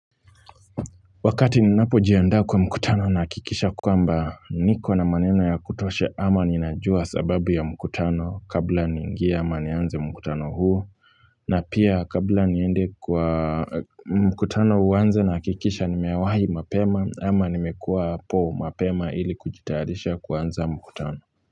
Wakati ninapojiandaa kwa mkutano nahakikisha kwamba niko na maneno ya kutosha ama ninajua sababu ya mkutano kabla niingie ama nianze mkutano huu na pia kabla niende kwa mkutano uanze nahakikisha nimewahi mapema ama nimekuwapo mapema ili kujitayarisha kuanza mkutano.